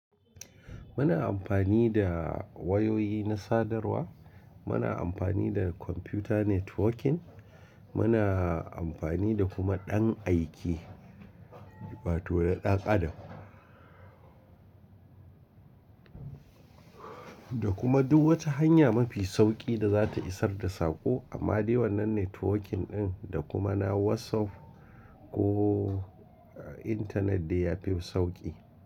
Muna amfani da wayoyi na sadarwa, muna amfani da computer networking, muna amfani da kuma ɗan aike wato na dan adam Da kuma duk wata hanya mafi sauƙi da za ta isar da saƙo amma dai wannan networking ɗin da kuma na WhatsApp ko internet dai yafi sauƙi.